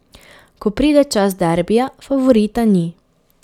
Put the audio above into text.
Ko pride čas derbija, favorita ni.